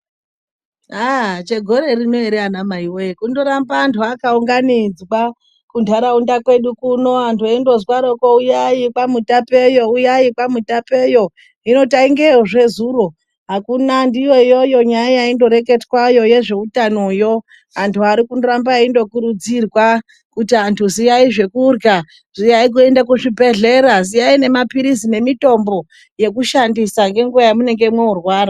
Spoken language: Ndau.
Aaaaa chegore rino ere ana mai woye kundoramba antu akaunganodzwa kuntaraunda kwedu kuno antu engozwaroko uyai kwamutapeyo uyai kwamutapeyo hino taingeyozve zuro akuna ndiyo iyoyo nyaya yaindoreketwayo yezveutanoyo antu arikuramba endo kurudzirwa kuti antu ziyai zvekurya , ziyai kuenda kuzvibhedhlera , ziyai nemapirizi nemitombo yekushandisa ngenguwa yamunenge morwara.